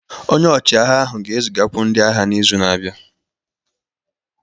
Onye ọchịagha ahụ ga-ezigakwu ndị agha n'izu na-abịa